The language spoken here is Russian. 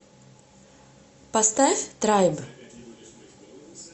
поставь трайб